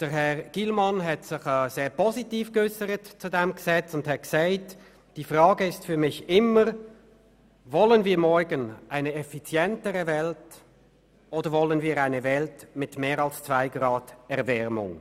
Herr Gillmann hat sich sehr positiv geäussert und gesagt: «Die Frage ist für mich immer, wollen wir morgen eine effizientere Welt oder wollen wir eine Welt mit mehr als zwei Grad Erwärmung?